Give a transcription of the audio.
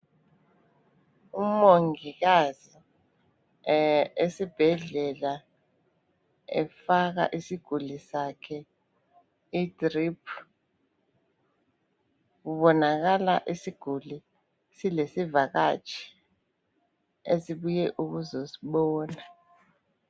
Umongikazi esibhedlela efaka isiguli sakhe idrip. Kubonakala isiguli silesivakatshi esibuye ukuzosibona.